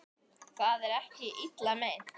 Það var ekki illa meint.